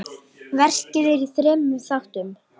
Verkið er í þremur þáttum.